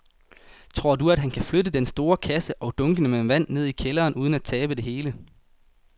Tror du, at han kan flytte den store kasse og dunkene med vand ned i kælderen uden at tabe det hele?